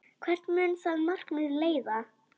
Hvert mun það markmið leiða?